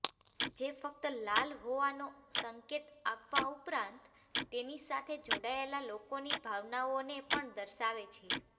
જે ફક્ત લાલ હોવાનો સંકેત આપવા ઉપરાંત તેની સાથે જોડાયેલા લોકોની ભાવનાઓને પણ દર્શાવે છે